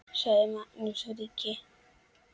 Sagði þá Magnús ríki: